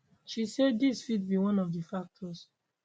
she say dis fit be one of di factors